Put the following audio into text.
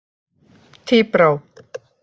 Tíbrá